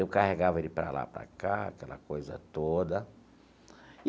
Eu carregava ele para lá, para cá, aquela coisa toda.